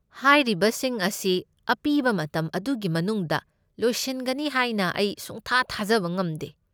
ꯍꯥꯏꯔꯤꯕꯁꯤꯡ ꯑꯁꯤ ꯑꯄꯤꯕ ꯃꯇꯝ ꯑꯗꯨꯒꯤ ꯃꯅꯨꯡꯗ ꯂꯣꯏꯁꯤꯟꯒꯅꯤ ꯍꯥꯏꯅ ꯑꯩ ꯁꯨꯡꯊꯥ ꯊꯥꯖꯕ ꯉꯝꯗꯦ꯫